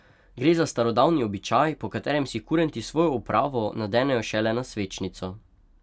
Gre za starodavni običaj, po katerem si kurenti svojo opravo nadenejo šele na svečnico.